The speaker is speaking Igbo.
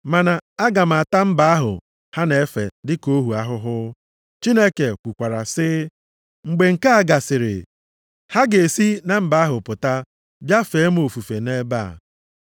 Mana aga m ata mba ahụ ha na-efe dịka ohu ahụhụ.’ + 7:7 Ya bụ, kpee ha ikpe Chineke kwukwara sị, ‘Mgbe nke a gasịrị, ha ga-esi na mba ahụ pụta, bịa fee m ofufe nʼebe a.’ + 7:7 \+xt Jen 15:13,14\+xt*